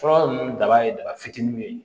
Fura ninnu daba ye daba fitininw ye